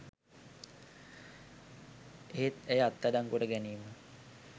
එහෙත් ඇය අත්අඩංගුවට ගැනීම